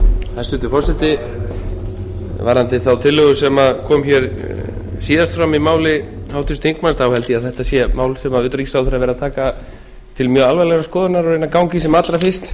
hæstvirtur forseti varðandi þá tillögu sem kom hér síðast fram í máli háttvirts þingmanns þá held ég að þetta sé mál sem utanríkisráðherra verður að taka til mjög alvarlegrar skoðunar og reyna að ganga í sem allra fyrst